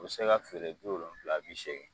O be se ka feere bi wolonwulala bi segi